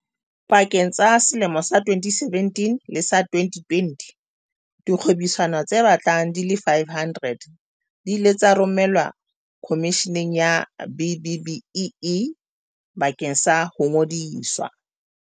Pakeng tsa selemo sa 2017 le sa 2020, dikgwebisano tse batlang di le 500 di ile tsa romelwa Khomisheneng ya B-BBEE bakeng sa ho ngodiswa.